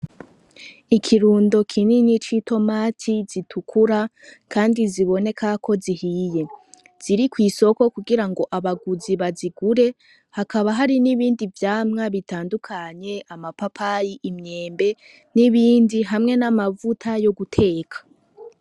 Ikirundo kinini c'itomati zitukura, kandi ziboneka ko zihiye, ziri kw'isoko kugira abaguzi bazigure. Hakaba hari n'ibindi bitandukanye, amapapayi, imyembe hamwe n'ibindi hamwe n'amavuta yo guteka.